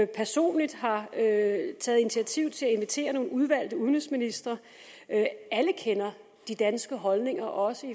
personligt har taget initiativ til at invitere nogle udvalgte udenrigsministre alle kender de danske holdninger også